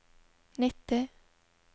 nitti